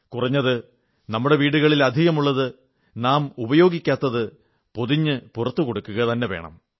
കുറഞ്ഞത് നമ്മുടെ വീടുകളിൽ അധികമായുള്ളത് നാം ഉപയോഗിക്കാത്തത് പൊതിഞ്ഞ് പുറത്ത് കൊടുക്കുക തന്നെ വേണം